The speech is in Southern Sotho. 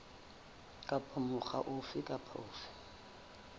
kapa mokga ofe kapa ofe